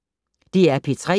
DR P3